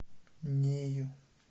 нею